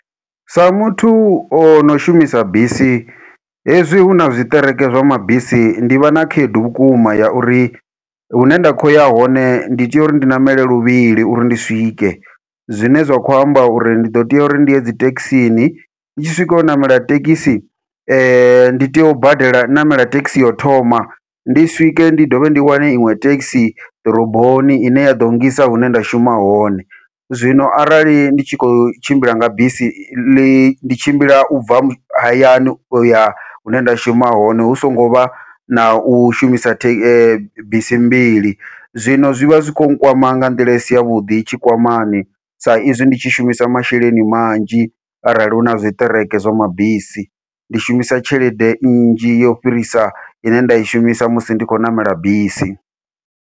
Sa muthu ono shumisa bisi hezwi huna tshiṱereke zwa mabisi ndi vha na khaedu vhukuma ya uri hune nda khou ya hone ndi tea uri ndi ṋamele luvhili uri ndi swike, zwine zwa kho amba uri ndi ḓo tea uri ndi ye dzithekhisini ndi tshi swika u ṋamela thekhisi ndi tea u badela ṋamela thekhisi yau thoma, ndi swike ndi dovhe ndi wane iṅwe thekisi ḓoroboni ine ya ḓo ngisa hune nda shuma hone. Zwino arali ndi tshi khou tshimbila nga bisi ḽi ndi tshimbila ubva hayani uya hune nda shuma hone hu songo vha nau shumisa the bisi mbili, zwino zwivha zwikho nkwama nga nḓila isi yavhuḓi tshikwamani sa izwi ndi tshi shumisa masheleni manzhi arali huna zwiṱereke zwa mabisi, ndi shumisa tshelede nnzhi yo fhirisa ine nda i shumisa musi ndi khou ṋamela bisi.